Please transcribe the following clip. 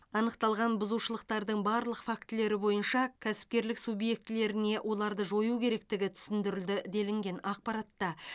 анықталған бұзушылықтардың барлық фактілері бойынша кәсіпкерлік субъектілеріне оларды жою керектігі түсіндірілді делінген ақпаратта